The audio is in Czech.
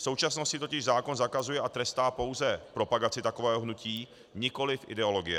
V současnosti totiž zákon zakazuje a trestá pouze propagaci takového hnutí, nikoliv ideologie.